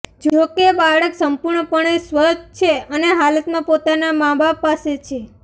જો કે બાળક સંપૂર્ણપણે સ્વસ્થ છે અને હાલમાં પોતાના માબાપ પાસે છે